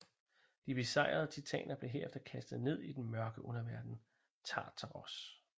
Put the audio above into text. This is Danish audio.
De besejrede titaner blev herefter kastet ned i den mørke underverden Tartaros